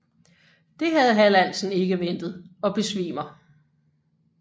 Dét havde Hallandsen ikke ventet og besvimer